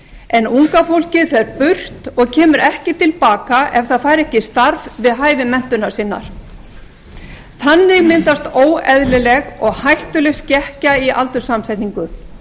en unga fólkið fer burt og kemur ekki til baka ef það fær ekki starf við hæfi menntunar sinnar þannig myndast óeðlileg og hættuleg skekkja í aldurssamsetningu